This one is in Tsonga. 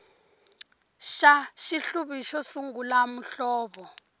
xa xihluvi xo sungula muhlovo